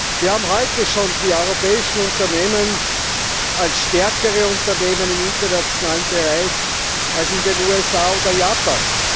Wir haben heute schon die europäischen Unternehmen als stärkere Unternehmen im internationalen Bereich als jene in den USA oder Japan.